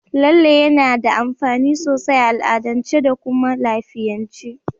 Lalle yana da amfani sosai a al'adance da kuma a lafiyance.